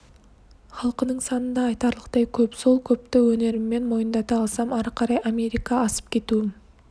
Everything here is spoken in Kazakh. халқының саны да айтарлықтай көп сол көпті өнеріммен мойындата алсам ары қарай америка асып кетуім